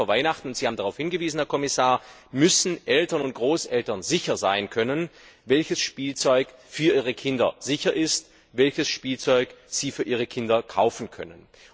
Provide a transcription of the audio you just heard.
Gerade vor Weihnachten Sie haben darauf hingewiesen, Herr Kommissar müssen Eltern und Großeltern sicher sein können, welches Spielzeug für ihre Kinder oder Enkel sicher ist, welches Spielzeug sie für ihre Kinder oder Enkel kaufen können.